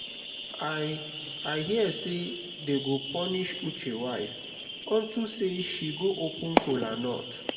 i i hear say dey go punish uche wife unto say she go open kola nut